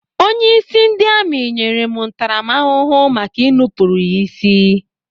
Onyeisi ndị amị nyere m ntaramahụhụ maka ị nupụrụ ya isi.